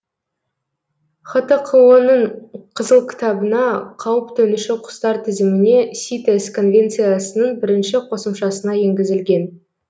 хтқо ның қызыл кітабына қауіп төнуші құстар тізіміне ситес конвенциясының бірінші қосымшасына енгізілген